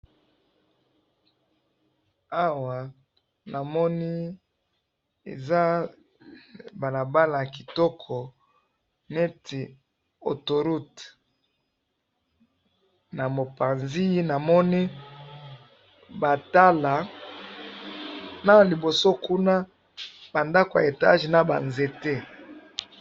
awa namoni eza balabala yakitoko neti autho route namopanzi namoni batala naliboso kuna bandako ya etage naba nzete